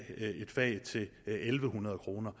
hundrede kroner